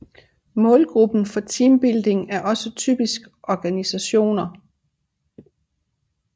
Målgruppen for teambuilding er også typisk organisationer